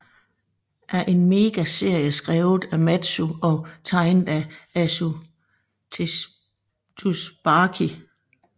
er en mangaserie skrevet af Mattsu og tegnet af Asu Tsubaki